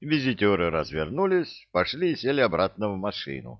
визитёры развернулись пошли и сели обратно в машину